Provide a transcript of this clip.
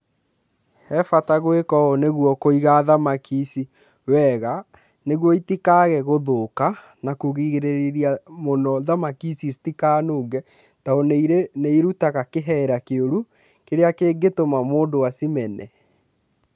He bata gwĩka ũũ nĩguo kũiga thamaki ici wega, nĩguo itikage gũthũka na kũgirĩrĩria mũno thamaki ici citikanunge, tondũ nĩ ĩrutaga kĩhera kĩũru kĩrĩa kĩngĩtũma mũndũ acimene.